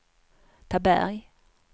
Taberg